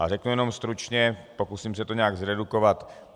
A řeknu jenom stručně, pokusím se to nějak zredukovat.